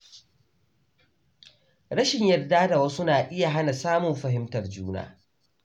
Rashin yarda da wasu na iya hana samun fahimtar juna.